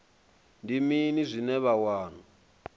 ndi mini zwine vha wana